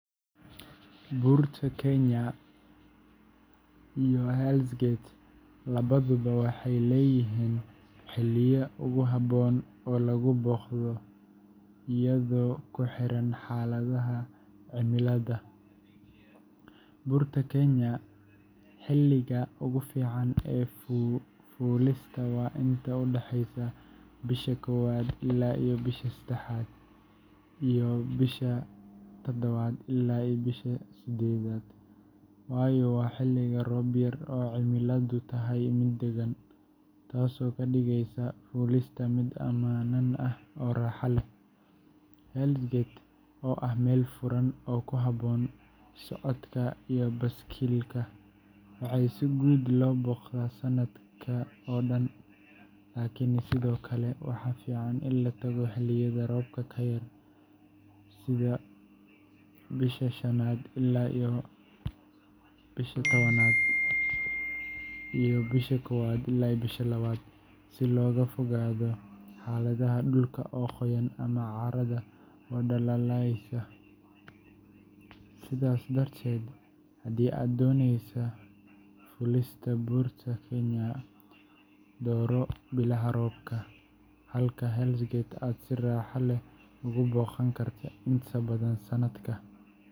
Buurta Kenya Mount Kenya iyo Hell’s Gate labaduba waxay leeyihiin xilliyo ugu habboon oo lagu booqdo iyadoo ku xiran xaaladaha cimilada. Buurta Kenya, xilliga ugu fiican ee fuulista waa inta u dhexeysa January ilaa March iyo August ilaa October, waayo waa xilliyo roob yar oo cimiladu tahay mid deggan, taasoo ka dhigeysa fuulista mid ammaan ah oo raaxo leh. Hell’s Gate National Park, oo ah meel furan oo ku habboon socodka iyo baaskiilka, waxaa si guud loo booqdaa sannadkii oo dhan, laakiin sidoo kale waxaa fiican in la tago xilliyada roobka ka yar sida June to September iyo Janaayo ilaa Febraayo si looga fogaado xaaladaha dhulka oo qoyan ama carrada oo dhalaalaysa. Sidaas darteed, haddii aad dooneyso fuulista Buurta Kenya, dooro bilaha roobka yar, halka Hell’s Gate aad si raaxo leh ugu booqan karto inta badan sanadka.